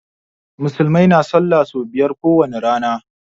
Musulmai na sallah so biyar ko wani rana.